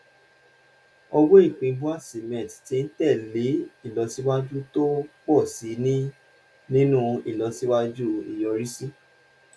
owó ìpín bua cement ti ń tẹ̀ lé ìlọsíwájú tó pọ̀ sí i nínú ìlọsíwájú ìyọrísí